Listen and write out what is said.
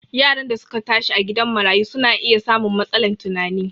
Yaran da su ka tashi a gidan marayu su na iya samun matsalan tunani